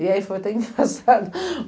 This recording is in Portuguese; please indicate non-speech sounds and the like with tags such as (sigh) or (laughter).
E aí foi até engraçado (laughs)